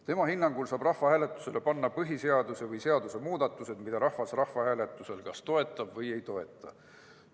Tema hinnangul saab rahvahääletusele panna põhiseaduse või muu seaduse muudatused, mida rahvas rahvahääletusel kas toetab või ei toeta.